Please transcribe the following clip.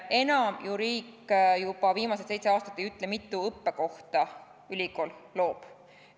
Enam ju riik juba viimased seitse aastat ei ütle, mitu õppekohta ülikool loob.